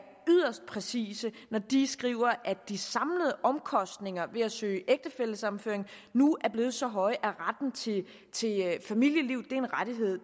yderst præcise når de skriver at de samlede omkostninger ved at søge ægtefællesammenføring nu er blevet så høje at retten til familieliv er en rettighed